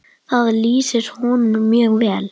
Það lýsir honum mjög vel.